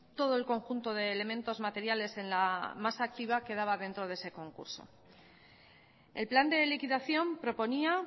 todo el conjunto de elementos materiales en la masa activa quedaba dentro de ese concurso el plan de liquidación proponía